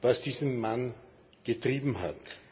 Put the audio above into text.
was diesen Mann getrieben hat.